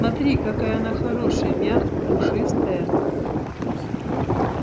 смотри какая она хорошая мягкая пушистая